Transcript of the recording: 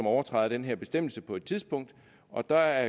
overtræder den her bestemmelse på et tidspunkt og der